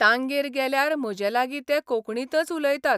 तांगेर गेल्यार म्हजे लागीं ते कोंकणींतच उलयतात.